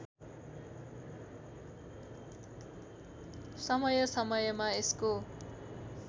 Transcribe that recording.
समय समयमा यसको